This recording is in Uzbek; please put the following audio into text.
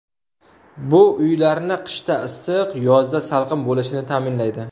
Bu uylarni qishda issiq, yozda salqin bo‘lishini ta’minlaydi.